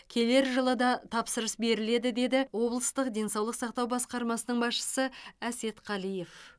келер жылы да тапсырыс беріледі деді облыстық денсаулық сақтау басқармасының басшысы әсет қалиев